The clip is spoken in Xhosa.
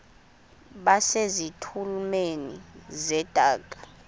base zitulmeni zedaka